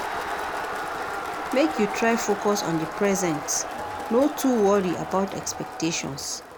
Make you try focus on di present no too worry about expectations.